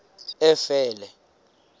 efele